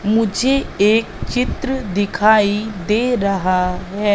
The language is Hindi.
मुझे एक चित्र दिखाई दे रहा है।